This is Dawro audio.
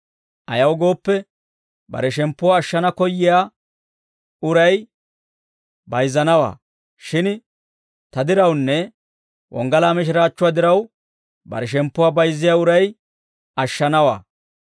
Ayaw gooppe, bare shemppuwaa ashshana koyyiyaa uray bayizzanawaa; shin ta dirawunne wonggalaa mishiraachchuwaa diraw bare shemppuwaa bayizziyaa uray ashshanawaa.